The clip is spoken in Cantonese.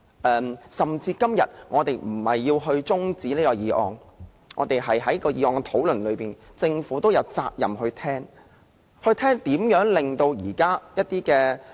即使我們今天並非要將辯論中止待續，而是就議案辯論發言，政府亦有責任聆聽，聆聽如何令現時